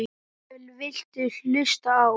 Hvað viltu hlusta á?